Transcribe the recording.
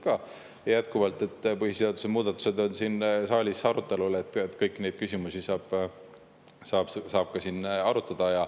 Ja jätkuvalt: põhiseaduse muudatused on siin saalis arutelul, kõiki neid küsimusi saab siin arutada.